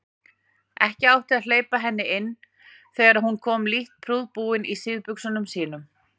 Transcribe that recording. Ekki átti að hleypa henni inn þegar hún kom lítt prúðbúin í síðbuxunum sínum.